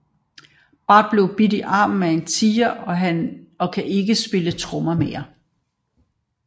Bart bliver bidt i armen af en tiger og kan ikke spille trommer mere